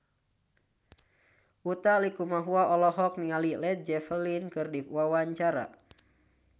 Utha Likumahua olohok ningali Led Zeppelin keur diwawancara